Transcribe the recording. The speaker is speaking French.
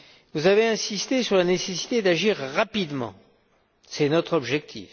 Vous avez insisté sur la nécessité d'agir rapidement, c'est notre objectif.